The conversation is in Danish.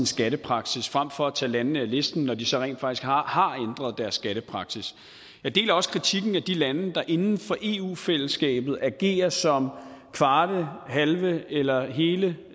skattepraksis frem for at man tager landene af listen når de så rent faktisk har har ændret deres skattepraksis jeg deler også kritikken af de lande der inden for eu fællesskabet agerer som kvarte halve eller hele